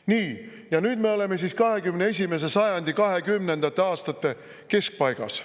Nii, ja nüüd me oleme 21. sajandi 20. aastate keskpaigas.